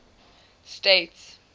states